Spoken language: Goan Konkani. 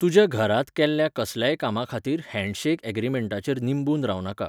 तुज्या घरांत केल्ल्या कसल्याय कामाखातीर 'हँडशेक अॅग्रिमेंटा'चेर निंबून रावनाका.